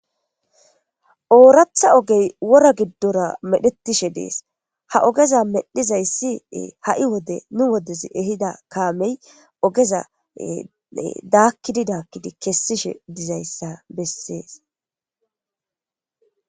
Ooratha ogey wora giddora medhetishe dees ha ogeza medhizayssi ha'i wode nu wodez ehida kaamey ogezae daakkidi daakkidi kessishe dizayssa bessees.